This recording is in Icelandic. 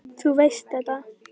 Þú veist þetta.